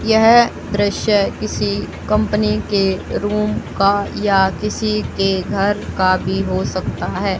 यह दृश्य किसी कंपनी के रूम का या किसी के घर का भी हो सकता है।